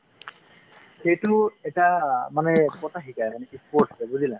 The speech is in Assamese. সেইটো এটা অ মানে কথা শিকাই যেনেকে sports হয় বুজিলা ?